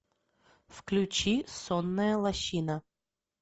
включи сонная лощина